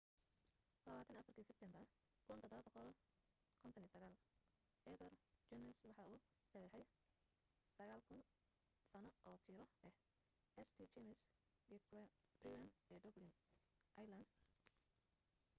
24-ki sebtembar 1759 arthur guinness waxa uu saxiixey 9,000 sano oo kiro ah st james' gate brewery ee dublin ireland